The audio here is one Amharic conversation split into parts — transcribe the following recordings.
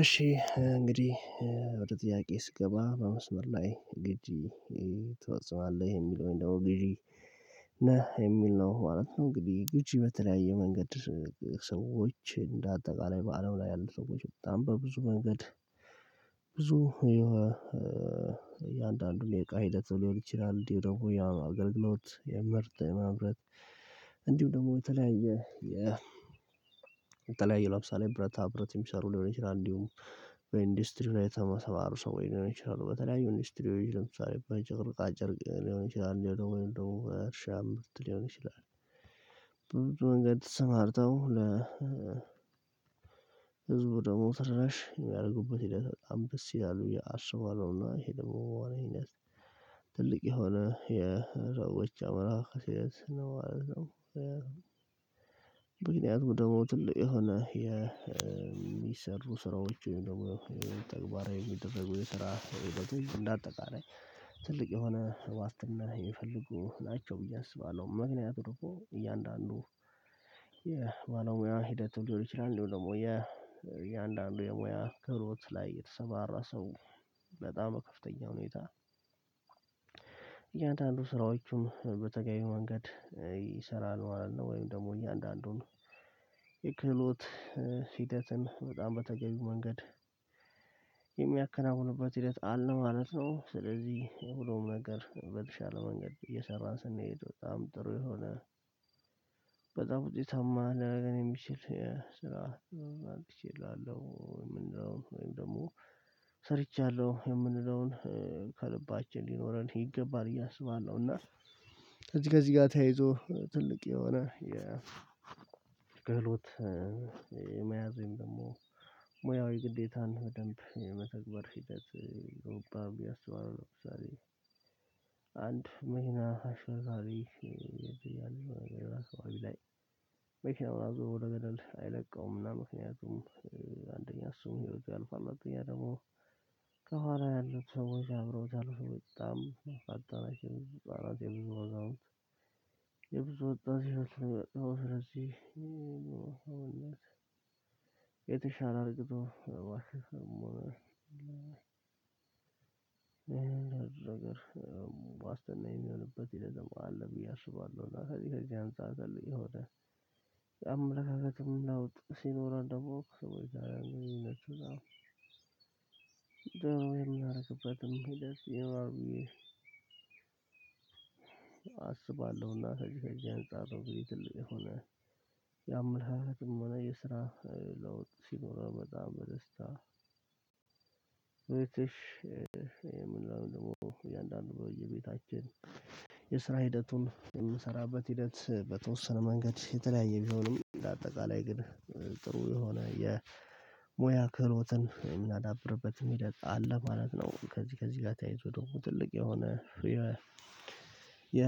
እሺ እንግዲህ ወደ ጥያቄ ስገባ በመስመር ላይ ግጂ ትፈጽማለ የሚለውን ደግሞ ግዢ ነህ የሚል ነው ማለት ነው። እንግዲህ ግጂ በተለያየ መንገድ ሰዎች እንደ አጠቃላይ በአለም ላይ ያሉ ሰዎች በጣም በብዙ መንገድ። ብዙ የአንዳንዱን የእቃ ሂደት ሊሆን ይችላል እንዲሁ ደግሞ ያ አገልግሎት የምርት ማምረት። እንዲሁም ደግሞ የተለያየ የተለያየ ለምሳሌ ብረታ ብረት የሚሰሩ ሊሆን ይችላል። በኢንዱስትሪ ላይ የተማሩ ሰዎች ሊሆን ይችላሉ በተለያዩ እንዱስትሪ ለምሳሌ በጨርቃጨርቅ ሊሆን ይችላል ወይም ደግሞ እርሻም ሊሆን ይችላል። ብዙ መንገድ ተሰማርተው ለ ህዝቡ ደግሞ ራሽ የሚያደርጉበት ሂደት በጣም ደስ ይላሉ ያሰባሉና ይሄ ደግሞ ትልቅ የሆነ የረቦች አመራር ስለዚህ ነው ማለት ነው። ደግሞ ትልቅ የሆነ የሚሰሩ ስራዎች ወይም ደግሞ ተግባራዊ የሚደረጉ የስራ ህይወቶች እንደ አጠቃላይ ትልቅ የሆነ ዋስትና ይሚፈልጉ ናቸው ብዬ አስባለሁ። ምክንያቱም ደግሞ እያንዳንዱ የባለሙያ ሂደት ሊሆን ይችላል እንደሁም ደግሞ የእያንዳንዱ የሙያ ክህሎት ላይ የተሰማራ ሰው በጣም ከፍተኛ ሁኔታ። እያንዳንዱ ስራዎቹም በተገቢው መንገድ ይሰራል ማለት ነው። ወይም ደግሞ እያንዳንዱን የክህሎት ሂደትን በጣም በተገኘው መንገድ የሚያከናውንበት ሂደት አለ ማለት ነው። ስለዚህ ሁሉም ነገር በተሻለ መንገድ እየሰራን ስንሄድ በጣም ጥሩ የሆነ በጣም ውጤታማ ሊያረገን የሚችል ስራ አምጥቼልሀለው። ወይም ደግሞ ሰርቻለሁ የምንለውን ከልባችን ሊኖረን ይገባል ብዬ አስባለው። እና ከዚህ ጋር ተያይዞ ትልቅ የሆነ የ ክህሎት የመያዝ ወይም ደግሞ ሙያዊ ግዴታን በደንብ የመተግበር ሂደት ኦባም አስባለው። ለምሳሌ አንድ መኪና አሽከርካሪ ዛሬ አመት ወደ ገደል አይለቀውም እና ምክንያቱም አንደኛ እሱም ህይወቱ ያልፋሉ አንደኛ ደግሞ ከኋላ ያሉት ሰዎች አብረውታል በጣም አጣራጭ የብዙ ወጣት የብዙ ወጣት ነው የተሻለ አርግቶ እኔ እንደዚህ ነገር ዋስትና የሚሆንበት ሂደት ደግሞ አለ ብዬ አስባለሁ። ለዚህ ከዚህ አንፃር ይሆን አምላካለትም ላውጥ ሲኖረው ደግሞ እንደውም የሚያደርግበትም ሂደት ይ ይኖልል ብዬ አስባለሁ። እና ከዚህ ከዚህ አንፃር የአምላካለትም ሆነ የስራ ለውጥ ሲኖረው በጣም በደስታ እሺ የምንለው ደግሞ እያንዳንዱ በየቤታችን የስራ ሂደቱን የምንሰራበት ሂደት በተወሰነ መንገድ የተለያየ ቢሆንም እንደአጠቃላይ ግን ጥሩ የሆነ የሙያ ክህሎትን የምናዳብርበት ሂደት አለማለት ነው። ከዚህ ከዚህ ጋር ተያይዞ ደግሞ ትልቅ የሆነ የ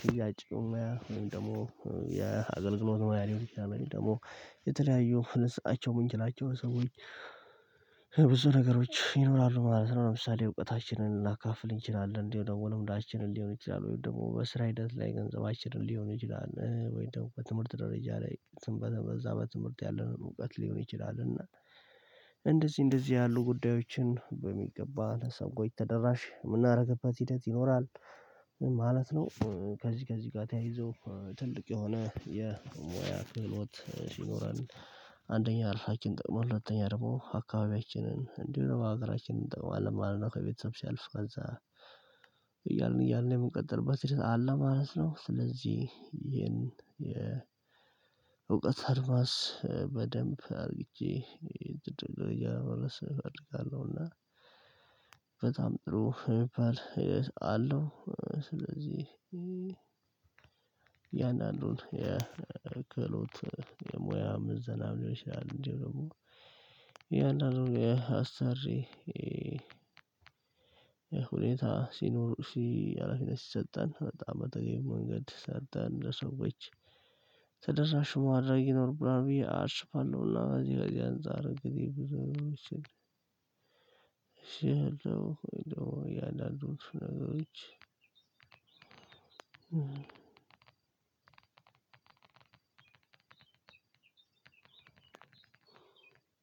ሽያጭ ሞያ ወይም ደግሞ የ አገልግሎት ሞያ ሊሆን ይችላል ወይም ደግሞ የተለያዩ ልንሰጣቸው ምንችላቸው ሰዎች ብዙ ነገሮች ይኖራሉ ማለት ነው። ለምሳሌ እውቀታችንን ልናካፍል እንችላለን እንዲሁም ደግሞ ልምዶችንን ሊሆን ይችላል ወይም ደግሞ በስራ ሂደት ላይ ገንዘባችንን ሊሆን ይችላል ወይን ደግሞ በትምህርት ደረጃ ላይ በዛ በትምህርት ያለንን እውቀት ሊሆን ይችላል እና እንደዚህ እንደዚህ ያሉ ጉዳዮችን በሚገባ ለሰዎች ተደራሽ የምናደርግበት ሂደት ይኖራል ማለት ነው። ከዚህ ከዚህ ጋር ተያይዞ ትልቅ የሆነ የሙያ ክህሎት ይኖራል። አንደኛ እራሳችንን ጠቅሞን ሁሉተኛ ደግሞ አካባቢያችንን እንዲሁ ሀገራችንን እንጠቅማለን ማለት ነው። ከቤተሰብ ሲያልፍ ከዛ ያንን ያንን የምንቀጥልበት ሂደት አለ ማለት ነው። ስለዚህ ይሄን የእውቀት አድማስ በደንብ አድርጌ እያመራው እና በጣም ጥሩ የሚባል ስለዚህ ያን አንዱን የክህሎት የሙያ ምዘና ሊሆን ይችላል እንዲሁም ደግሞ እያንዳንዱን የአሰሪ ሁኔታ ሲኖር ሀላፊነት ምሰጣል በጣም በተገቢ መንገድ ይስጣል ለሰዎች ማድረግ ይኖርብናል ብዬ አስባለሁ። እና በዚህ በዚህ ኦንጻር እንግዲህ ብዙ እዚህ ያሉት እያንዳንዱ ነገሮች እኔም እንደዛ ነው። የምለው